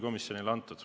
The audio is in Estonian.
Aitäh!